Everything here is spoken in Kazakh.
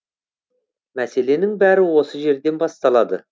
мәселенің бәрі осы жерден басталады